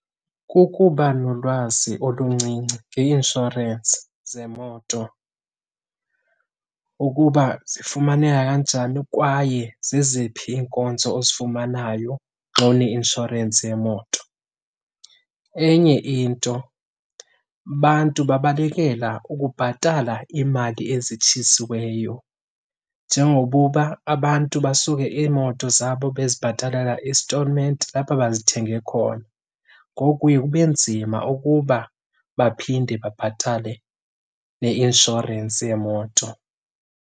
Kukuba nolwazi oluncinci ngeinshorensi zemoto, ukuba zifumaneka kanjani kwaye zeziphi iinkonzo ozifumanayo xa une inshorensi yemoto. Enye into abantu babalekela ukubhatala iimali ezitshisiweyo Njengokuba abantu basuke iimoto zabo bezibhatalela istolment apho bazithenge khona. Ngoku kuye kube nzima ukuba baphinde babhatale neinshorensi yemoto.